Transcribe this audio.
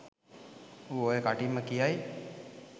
ඌ ඔය කටින්ම කියයි